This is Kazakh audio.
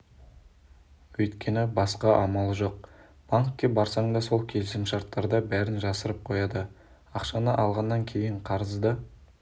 өйткені басқа амалы жоқ банкке барсаң да сол келісімшарттарда бәрін жасырып қояды ақшаны алғаннан кейін қарызды